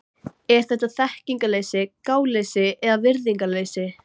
Er þetta þekkingarleysi, gáleysi eða virðingarleysi?